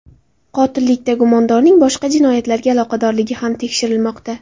Qotillikda gumondorning boshqa jinoyatlarga aloqadorligi ham tekshirilmoqda.